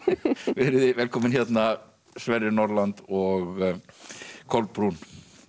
verið þið velkomin Sverrir Norland og Kolbrún